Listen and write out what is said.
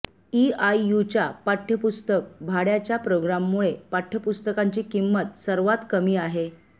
ईआययूच्या पाठ्यपुस्तक भाड्याच्या प्रोग्राममुळे पाठ्यपुस्तकांची किंमत सर्वात कमी आहे